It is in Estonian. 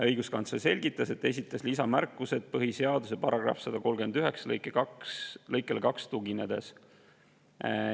Õiguskantsler selgitas, et esitas lisamärkused põhiseaduse § 139 lõikele 2 tuginedes.